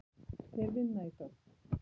Þeir vinna í þögn.